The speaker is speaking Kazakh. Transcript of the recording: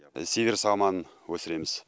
сиверс алманы өсіреміз